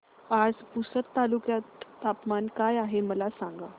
आज पुसद तालुक्यात तापमान काय आहे मला सांगा